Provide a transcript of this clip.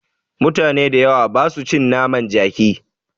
Mutane da yawa basu cin naman jaki